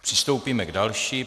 Přistoupíme k další.